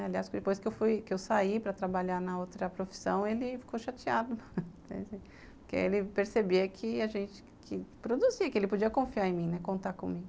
Aliás, depois que eu saí para trabalhar na outra profissão, ele ficou chateado, porque ele percebia que a gente produzia, que ele podia confiar em mim, contar comigo.